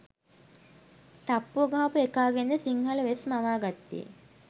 තප්පුව ගහපු එකාගෙන්ද සිංහල වෙස් මවා ගත්තේ